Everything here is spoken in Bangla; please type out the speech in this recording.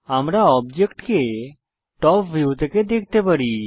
আমরা অবজেক্ট টপ ভিউ থেকে দেখতে পারি